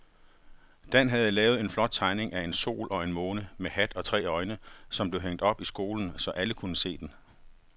Dan havde lavet en flot tegning af en sol og en måne med hat og tre øjne, som blev hængt op i skolen, så alle kunne se den.